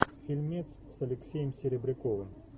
фильмец с алексеем серебряковым